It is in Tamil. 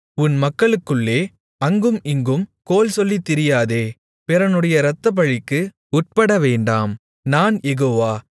உன் மக்களுக்குள்ளே அங்கும் இங்கும் கோள்சொல்லித் திரியாதே பிறனுடைய இரத்தப்பழிக்கு உட்படவேண்டாம் நான் யெகோவா